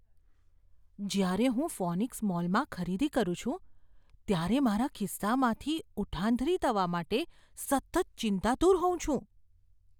જ્યારે હું ફોનિક્સ મોલમાં ખરીદી કરું છું, ત્યારે મારા ખિસ્સામાંથી ઉઠાંતરી થવા માટે સતત ચિંતાતુર હોઉં છું.